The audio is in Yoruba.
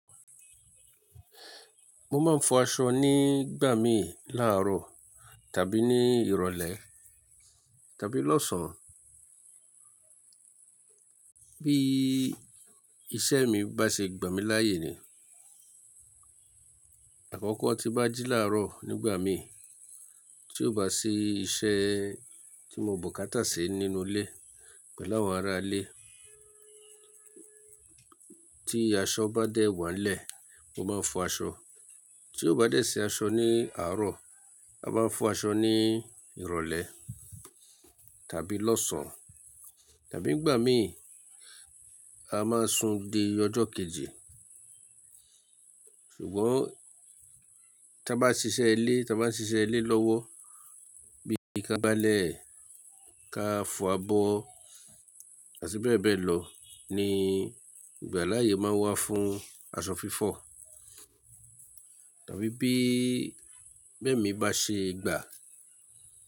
Mo máa ń fọ aṣọ ní gbà mí láàárọ̀ tàbí ní ìrọ̀lẹ́ tàbí lọ́sàn-án. Bí iṣẹ́ mi bá ṣe gbà mí láàyè ni. Àkọ́kọ́ tí n bá jí láàárọ̀ nígbà mí, tí ó bá sì iṣẹ́ tí mo bùkátà ṣi nínú ilé pẹ̀lú àwọn ará ilé. Tí aṣọ bá dẹ̀ wá n lẹ̀, mo máa ń fọ aṣọ. Tí ó bá dẹ̀ ṣi aṣọ ní àárọ̀, a máa ń fọ aṣọ ní ìrọ̀lẹ́ tàbí lọ́sàn-án tàbí nígbà mí a máa ń sun di ọjọ́ kejì. Ṣùgbọ́n tí a bá ṣiṣẹ́ ilé, tí a bá ń ṣiṣẹ́ ilé lọ́wọ́, bí ka gbálẹ̀, ká fọ abọ́ àti bẹ́ẹ̀ bẹ́ẹ̀ lọ ni ìgbà láàyè máa n wà fún aṣọ fífọ̀. Tàbí bí emi bá ṣe gbà.